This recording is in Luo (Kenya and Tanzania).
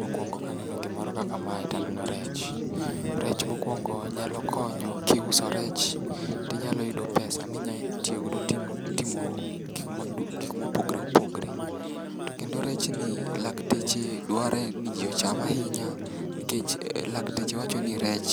Mokwongo kaneno gimoro kaka mae taneno rech, rech mokwongo nyalo konyo kiuso rech tinyalo yudo pesa minya tiyogodo timo gikmopogre opogre. To kendo rechni lakteche dware ni ji ochame ahinya, nikech lakteche wacho ni rech